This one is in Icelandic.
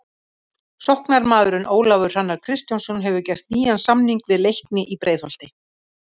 Sóknarmaðurinn Ólafur Hrannar Kristjánsson hefur gert nýjan samning við Leikni í Breiðholti.